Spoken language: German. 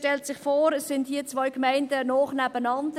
Man stellte sich vor, es sind zwei Gemeinden nah beieinander.